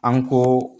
An ko